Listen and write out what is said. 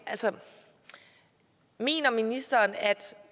altså mener ministeren at